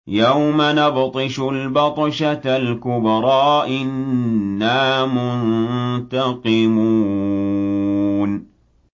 يَوْمَ نَبْطِشُ الْبَطْشَةَ الْكُبْرَىٰ إِنَّا مُنتَقِمُونَ